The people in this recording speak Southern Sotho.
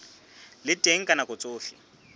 le teng ka nako tsohle